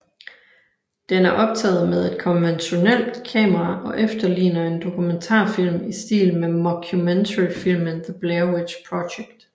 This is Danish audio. Den er optaget med et konventionelt kamera og efterligner en dokumentarfilm i stil med mockumentaryfilmen The Blair Witch Project